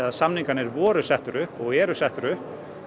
samningarnir voru settir upp og eru settir upp